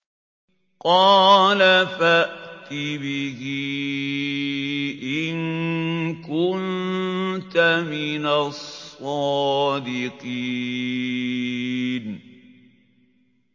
قَالَ فَأْتِ بِهِ إِن كُنتَ مِنَ الصَّادِقِينَ